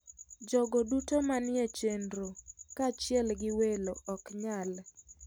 Jogo duto manie chenro, kaachiel gi welo oknyal.